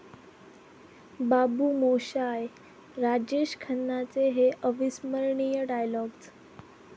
बाबू मोशाय...'राजेश खन्नांचे हे अविस्मरणीय डायलॉग्ज